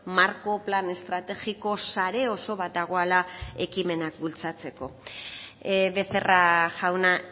marko plan estrategiko sare oso bat dagoela ekimenak bultzatzeko becerra jauna